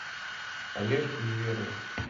олежку неверова